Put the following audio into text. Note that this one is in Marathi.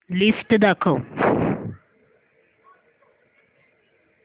लिस्ट दाखव